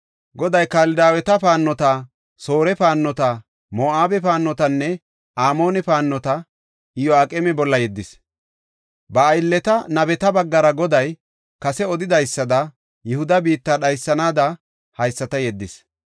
Goday Kaldaaweta paannota, Soore paannota, Moo7abe paannotanne Amoone paannota Iyo7aqeema bolla yeddis; ba aylleta nabeta baggara Goday kase odidaysada, Yihuda biitta dhaysanaada haysata yeddis.